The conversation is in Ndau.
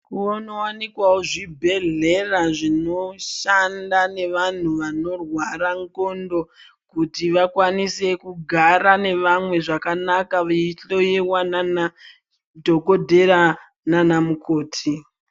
Kunowanikwawo zvibhedhleya zvinoshanda nevantu vanorwara ndxondo kuti vakwanise kugara nevamwe zvakanaka veihloyewa nanadhokodheya nanamukoti.